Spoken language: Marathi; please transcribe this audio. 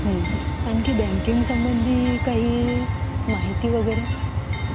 आणखी बँकिंग संबंधी काही माहिती वगैरे.